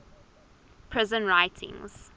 prison writings